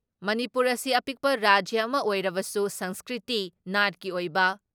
ꯃꯅꯤꯄꯨꯔ ꯑꯁꯤ ꯑꯄꯤꯛꯄ ꯔꯥꯖ꯭ꯌ ꯑꯃ ꯑꯣꯏꯔꯕꯁꯨ ꯁꯪꯁꯀ꯭ꯔꯤꯇꯤ, ꯅꯥꯠꯀꯤ ꯑꯣꯏꯕ